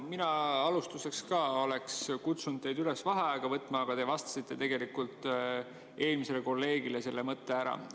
Mina alustuseks ka oleks kutsunud teid üles vaheaega võtma, aga te vastasite eelmisele kolleegile selle ära.